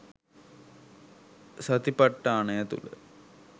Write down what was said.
සතිපට්ඨානය තුළ